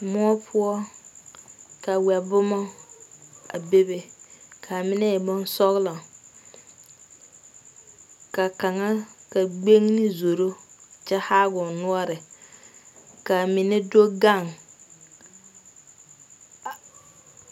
Moɔ poɔ, ka wɛ boma a be be kaa mine e boŋ sɔglo ka kaŋa ,ka gbenne zoro kyɛ haa o noɔre kaa mine do gaŋ a.